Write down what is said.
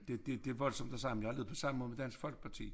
Det det voldsomt og sige men jeg har det på samme måde med Dansk Folkeparti